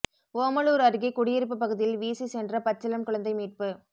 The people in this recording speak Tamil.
ஓமலூர் அருகே குடியிருப்பு பகுதியில் வீசி சென்ற பச்சிளம் குழந்தை மீட்பு